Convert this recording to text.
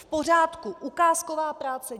V pořádku - ukázková práce.